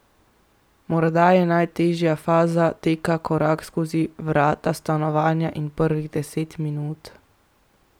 Morda je najtežja faza teka korak skozi vrata stanovanja in prvih deset minut.